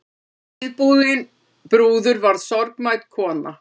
Síðbúin brúður verður sorgmædd kona.